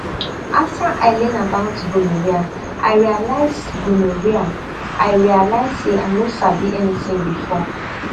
after i learn about gonorrhea i realize gonorrhea i realize say i no sabi anything before